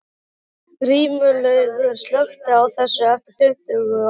Grímlaugur, slökktu á þessu eftir tuttugu og átta mínútur.